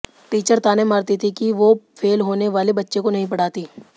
teacher ताने मारती थी कि वो फेल होने वाले बच्चों को नहीं पढ़ाती